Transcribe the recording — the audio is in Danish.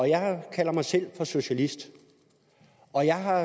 jeg kalder mig selv for socialist og jeg har